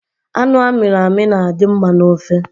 Anụ amiri emi na-adi mma n’ofe